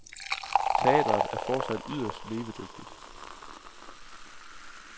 Teatret er fortsat yderst levedygtigt.